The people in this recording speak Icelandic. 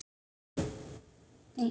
Stundum hefur þurft minna til.